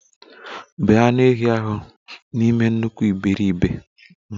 Bee anụ ehi ahụ n'ime nnukwu iberibe!